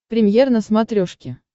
премьер на смотрешке